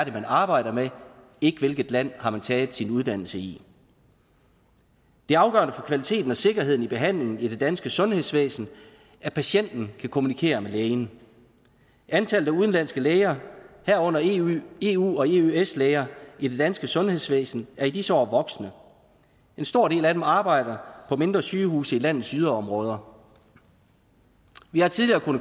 er man arbejder med og ikke hvilket land har taget sin uddannelse i det er afgørende for kvaliteten og sikkerheden i behandlingen i det danske sundhedsvæsen at patienten kan kommunikere med lægen antallet af udenlandske læger herunder eu eu og eøs læger i det danske sundhedsvæsen er i disse år voksende en stor del af dem arbejder på mindre sygehuse i landets yderområder vi har tidligere